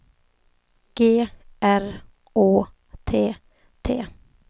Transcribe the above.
G R Å T T